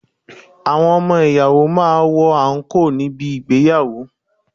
Àwọn ọmọ ìyàwó máa ń wọ àǹkóò ní bi ìgbéyàwó.